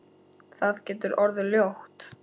Það getur orðið ljótt.